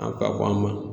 A ka bon an ma